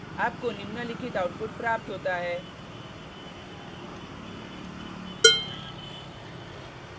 आपको निम्नलिखित आउटपुट प्राप्त होता है